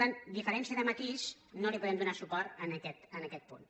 per tant diferència de matís no li podem donar suport en aquest punt